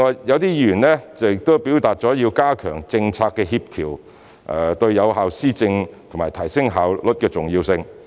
一些議員提到加強政策協調對有效施政及提升效率的重要性。